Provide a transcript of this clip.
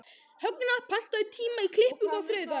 Högna, pantaðu tíma í klippingu á þriðjudaginn.